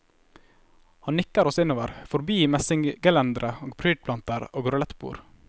Han nikker oss innover, forbi messinggelendere og prydplanter og rulettbord.